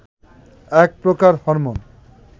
এক প্রকার হরমোন